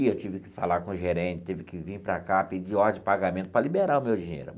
E eu tive que falar com o gerente, tive que vim para cá, pedir ordem de pagamento para liberar o meu dinheiro.